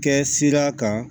Kɛ sira kan